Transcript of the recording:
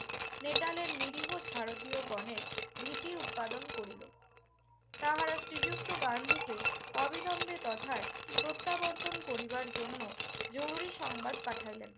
নেতালের নিরীহ ভারতীয়গণের ভীতি উদপাদন করিল। তাহারা শ্রীযুক্ত গান্ধীকে অবিলম্বে তথায় প্রত্যাবর্তন করিবার জন্য জরুরি সংবাদ পাঠাইলেন।